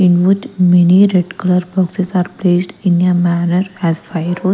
In which many red color boxes are placed in a manner as fire wood.